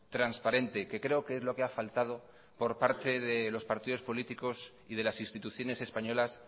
transparente que creo que es lo que ha faltado por parte de los partidos políticos y de las instituciones españolas